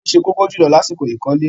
Omi ni ó se kókó jùlọ lásìkò ìkọ́lé.